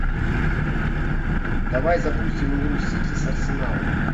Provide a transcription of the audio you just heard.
давай запустим игру сити с арсеналом